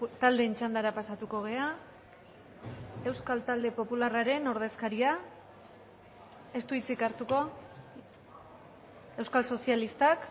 taldeen txandara pasatuko gara euskal talde popularraren ordezkaria ez du hitzik hartuko euskal sozialistak